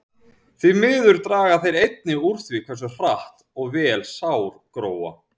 Því miður draga þeir einnig úr því hversu hratt og vel sár gróa.